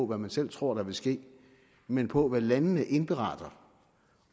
hvad man selv tror der vil ske men på hvad landene indberetter